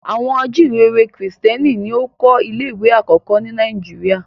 Àwọn ajíǹrere Kìrìtẹ́ẹ́nì ni ó kọ́ ilé-ìwé àkọ́kọ́ ní Nàìjíríà.